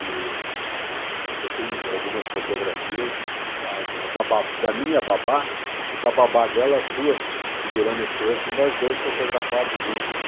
E ah eu tenho algumas fotografias da da bá da minha babá e da babá dela, as duas segurando as crianças, e nós dois fotografados juntos.